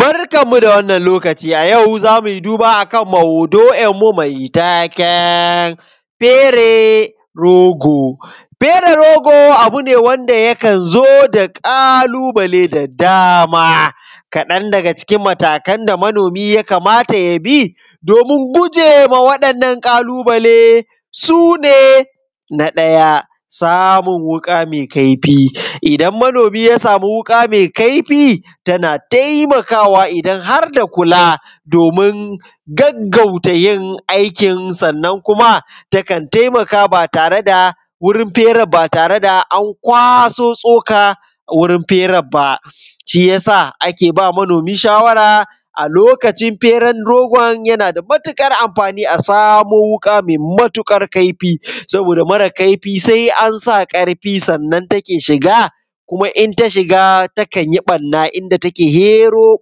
Barkanmu da wannan lokaci a yau zamui duba a kan maudu’inmu mai taken fere rogo. Fere rogo abu ne wanda yakan zo da ƙalubale da dama, kaɗan daga cikin matakan da manomi ya kamata ya bi domun gujema wannan ƙalubale su ne: Na ɗaya samun wuƙa me kaifi, idan manomi ya samu wuƙa mai kaifi, tana taimakawa idan har da kula domun gaggata yin aikin sannan kuma takan taimaka ba tare da, wurin fere ba tare da an kwaso tsoka wurin firan ba, shiyasa ake ba manomi shawara a lokacin feren rogon yana da matuƙar amfani a samo wuƙa mai matuƙar kaifi, saboda mare kaifi sai an sa karfi sannan take shiga kuma in ta shiga takan yi barna, inda take hero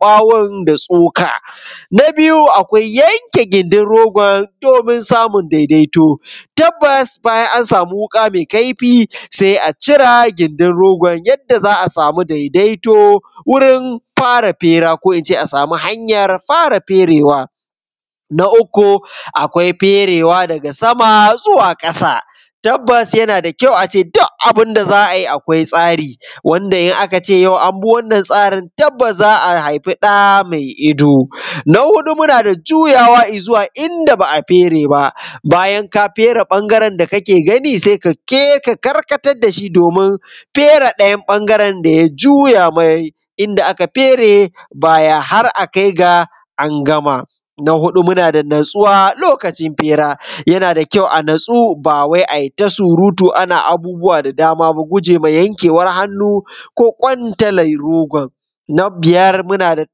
bawon da tsoka. Na biyu akwai yanke gindin rogon domun samun daidaito, tabbas bayan an samu wuƙa mai kaifi sai a cira gindin rogon yadda za a samu daidaito wurin fara fera, ko ince a samu hanyar fara ferewa. Na uku akwai ferewa daga sama zuwa ƙasa, tabbas yana da kyau ace duk abunda za a yi akwai tsari, wanda in aka ce an bi wannan tsarin tabbas za a haifi da mai ido. Na huɗu muna da juyawa izuwa inda ba a fere ba, bayan ka fere ɓangaren da kake gani, sai kake ka karkatar dashi domun fere ɗayan bangaren daya juya mai inda aka fere baya har a kai ga angama. Na huɗu muna da natsuwa lokacin fera, yana da kyau a natsu ba wai ai ta surutu ana abubuwa da dama ba, gujema yankewan hannu ko kwantalan rogon. Na biyar muna da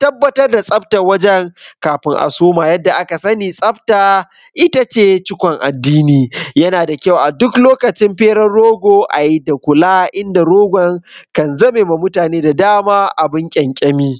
tabbatar da tsaftan wajan kafin a soma, yadda aka sani tsafta itace cikon addini, yana da kyau aduk lokacin feran rogo ayi da kula inda rogon kan zamema mutane da dama abun kynkyami.